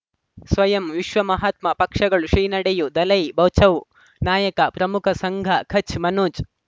ಸ್ವಯಂ ವಿಶ್ವ ಮಹಾತ್ಮ ಪಕ್ಷಗಳು ಶ್ರೀ ನಡೆಯೂ ದಲೈ ಬಚೌ ನಾಯಕ ಪ್ರಮುಖ ಸಂಘ ಕಚ್ ಮನೋಜ್